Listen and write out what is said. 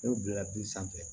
N'o bila bi sanfɛ